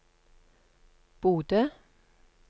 Bodø